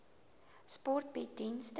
sport bied dienste